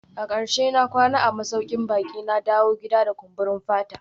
A karshe na kwana a masaukin baki, na dawo gida da kumburin fata